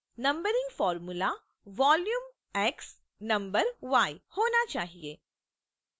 numbering formula vol {x} no {y} होना चाहिए